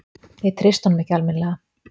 Ég treysti honum ekki alminlega.